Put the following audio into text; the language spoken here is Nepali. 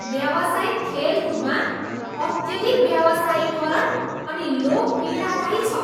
व्यावसायिक खेलकुदमा अत्यधिक व्यावसायीकरण अनि लोभ पीडादायी छ।